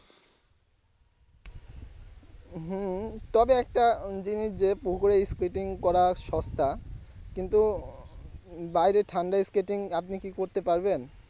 হম তবে একটা জিনিস যে skating কড়া সস্তা কিন্তু বাইরে ঠান্ডায় skating আপনি কি করতে পারবেন?